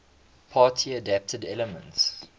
party adapted elements